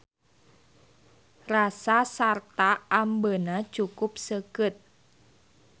Rasa sarta ambeuna cukup seukeut.